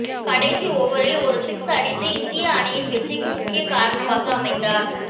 கடைசி ஓவரில் ஒரு சிக்ஸ் அடித்து இந்திய அணியின் வெற்றிக்கு முக்கிய காரணமாக அமைந்தார்